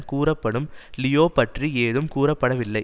கூறப்படும் லியோ பற்றி ஏதும் கூறப்படவில்லை